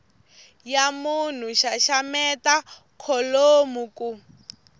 ya munhu xaxameta kholomo ku